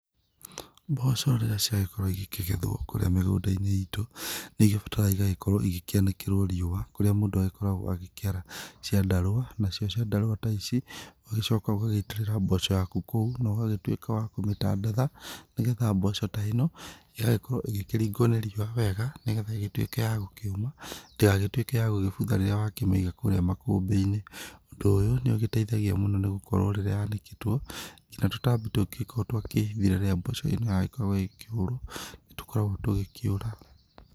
Mboco rĩrĩa ciagĩkorwo igĩkĩgethwo kũrĩa mĩgũnda-inĩ itũ nĩ igĩbataraga igagĩgũkorwo igĩkĩanĩkĩrwo rĩũa kũrĩa mũndũ agĩkoragwo akĩara ciandarũa, nacio ciandarũa ta ici ũgagĩcoka ũgagĩitĩrĩra mboco ciaku kũu no gagĩtũika wa kũmĩtandaitha nĩgetha mboco ta ĩno ĩgagĩkorwo ĩkĩrigwo nĩ rĩua wega nĩgetha igĩtũike ya gũkĩũma ndĩgagĩtuĩke ya gũgĩbutha rĩrĩa wakĩmĩiga kũrĩa makũmbĩ-inĩ ,ũndũ ũyũ nĩ ugĩteithagĩa mũno nĩgũkorwo rĩrĩa yanĩkĩtwo nginya tũtambĩ tũngĩkorwo twehithire rĩrĩa mboco ĩno yagĩkoragwo ĩkĩgũrwo nĩ tũgĩkoragwo tũgĩkĩũra.